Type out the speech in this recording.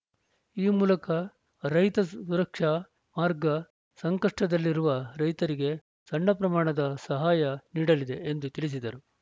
ಈ ಮೂಲಕ ರೈತ ಸುರಕ್ಷಾ ಮಾರ್ಗ ಸಂಕಷ್ಟದಲ್ಲಿರುವ ರೈತರಿಗೆ ಸಣ್ಣ ಪ್ರಮಾಣದ ಸಹಾಯ ನೀಡಲಿದೆ ಎಂದು ತಿಳಿಸಿದರು